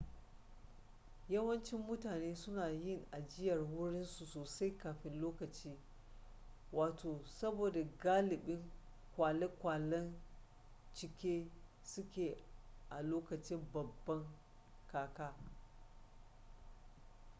yawancin mutane suna yin ajiyar wurin su sosai kafin lokaci saboda galibin kwale-kwalen cike suke a lokacin babban kaka